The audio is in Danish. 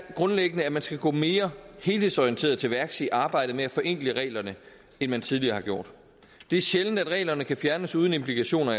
grundlæggende er at man skal gå mere helhedsorienteret til værks i arbejdet med at forenkle reglerne end man tidligere har gjort det er sjældent at reglerne kan fjernes uden implikationer